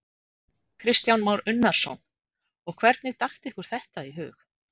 Kristján Már Unnarsson: Og hvernig datt ykkur þetta í hug?